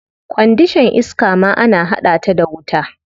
Kwandishan iska ma ana hada ta da wuta.